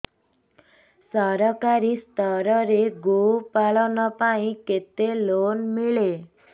ସରକାରୀ ସ୍ତରରେ ଗୋ ପାଳନ ପାଇଁ କେତେ ଲୋନ୍ ମିଳେ